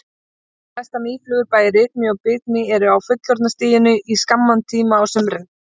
Flestar mýflugur, bæði rykmý og bitmý eru á fullorðna stiginu í skamman tíma á sumrin.